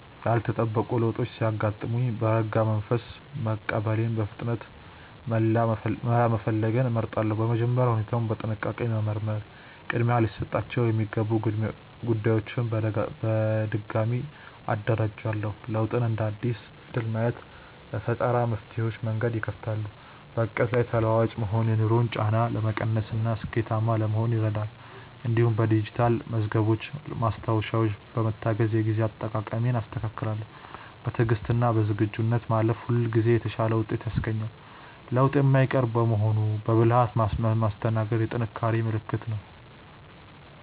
ያልተጠበቁ ለውጦች ሲያጋጥሙኝ በረጋ መንፈስ መቀበልንና በፍጥነት መላ መፈለግን እመርጣለሁ። በመጀመሪያ ሁኔታውን በጥንቃቄ በመመርመር ቅድሚያ ሊሰጣቸው የሚገቡ ጉዳዮችን በድጋሚ አደራጃለሁ። ለውጥን እንደ አዲስ እድል ማየት ለፈጠራ መፍትሄዎች መንገድ ይከፍታል። በዕቅዴ ላይ ተለዋዋጭ መሆን የኑሮን ጫና ለመቀነስና ስኬታማ ለመሆን ይረዳል። እንዲሁም በዲጂታል መዝገቦችና ማስታወሻዎች በመታገዝ የጊዜ አጠቃቀሜን አስተካክላለሁ። በትዕግስትና በዝግጁነት ማለፍ ሁልጊዜ የተሻለ ውጤት ያስገኛል። ለውጥ የማይቀር በመሆኑ በብልሃት ማስተናገድ የጥንካሬ ምልክት ነው።